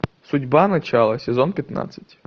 судьба начало сезон пятнадцать